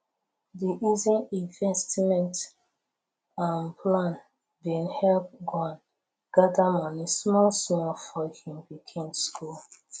the easy investment um plan been help juan gather money small small for him pikin school